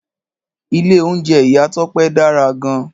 Ìlé ounjé Ìyá Tope dárá gan